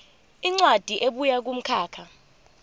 incwadi ebuya kumkhakha